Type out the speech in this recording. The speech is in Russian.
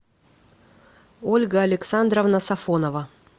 ольга александровна сафонова